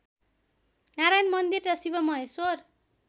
नारायण मन्दिर र शिवमहेश्वर